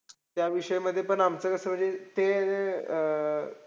त्याविषयी मध्ये पण आमचं कसं म्हणजे ते अं